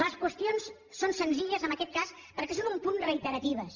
les qüestions són senzilles en aquest cas perquè són un punt reiteratives